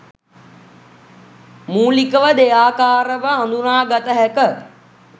මූලිකව දෙයාකාරව හදුනාගත හැක.